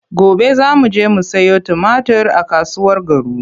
Gobe za mu je mu sayo tumatir a kasuwar Garu.